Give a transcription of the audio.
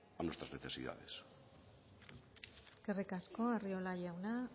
a nuestras necesidades eskerrik asko arriola jauna